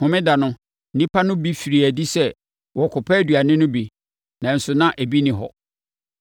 Homeda no, nnipa no bi firii adi sɛ wɔrekɔpɛ aduane no bi, nanso na ebi nni hɔ.